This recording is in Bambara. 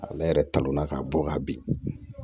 Ale yɛrɛ talonna ka bɔ ka bin